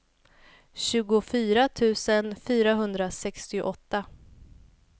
tjugofyra tusen fyrahundrasextioåtta